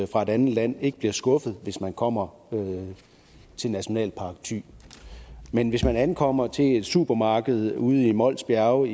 fra et andet land ikke bliver skuffet hvis man kommer til nationalpark thy men hvis man ankommer til et supermarked ude i mols bjerge